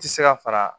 Ti se ka fara